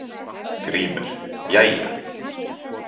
GRÍMUR: Jæja!